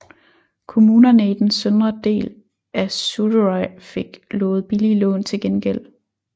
Kommunerne i den søndre del af Suðuroy fik lovet billige lån til gengæld